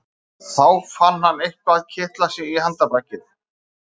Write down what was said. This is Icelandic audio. Þá fann hann eitthvað kitla sig í handarbakið.